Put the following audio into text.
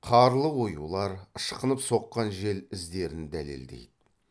қарлы оюлар ышқынып соққан жел іздерін дәлелдейді